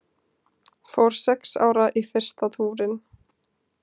Fór sex ára í fyrsta túrinn